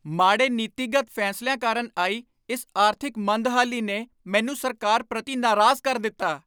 ਮਾੜੇ ਨੀਤੀਗਤ ਫੈਸਲਿਆਂ ਕਾਰਨ ਆਈ ਇਸ ਆਰਥਿਕ ਮੰਦਹਾਲੀ ਨੇ ਮੈਨੂੰ ਸਰਕਾਰ ਪ੍ਰਤੀ ਨਾਰਾਜ਼ ਕਰ ਦਿੱਤਾ।